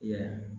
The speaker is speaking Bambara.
I yɛrɛ